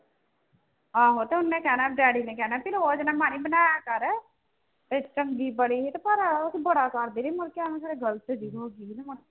ਆਹੋ ਤੇ ਉਹਨੇ ਕਹਿਣਾ daddy ਨੇ ਕਹਿਣਾ ਵੀ ਰੋਜ਼ ਨਾ ਬਣਾਇਆ ਕਰ, ਇਹ ਚੰਗੀ ਬੜੀ ਸੀ ਪਰ ਉਹ ਬੜਾ ਕਰਦੀ ਰਹੀ ਮੁੜਕੇ ਐਵੇਂ ਫਿਰ ਇਹ ਗ਼ਲਤ ਜਿਹੀ ਹੋ ਗਈ